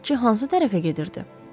Bələdçi hansı tərəfə gedirdi?